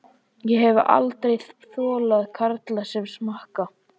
Ég hef aldrei þolað karla sem smakka.